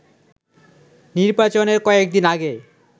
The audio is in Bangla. নির্বাচনের কয়েকদিন আগে